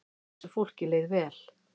Þessu fólki leið vel.